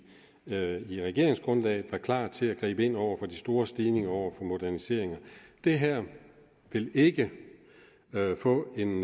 med regeringsgrundlaget var klar til at gribe ind over for de store stigninger over for moderniseringer det her vil ikke få en